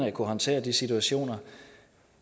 at kunne håndtere de situationer